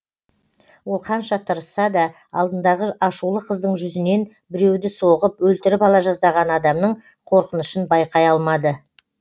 ол қанша тырысса да алдындағы ашулы қыздың жүзінен біреуді соғып өлтіріп ала жаздаған адамның қорқынышын байқай алмады